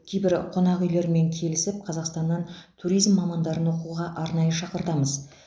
кейбір қонақүйлермен келісіп қазақстаннан туризм мамандарын оқуға арнайы шақыртамыз